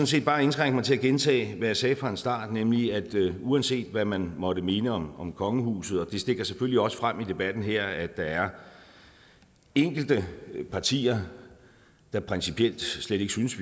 set bare indskrænke mig til at gentage hvad jeg sagde fra starten nemlig at uanset hvad man måtte mene om om kongehuset og det stikker selvfølgelig også frem i debatten her at der er enkelte partier der principielt slet ikke synes